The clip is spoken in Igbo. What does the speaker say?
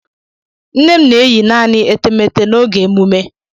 Nne m na-eyi naanị etemeete n'oge emume.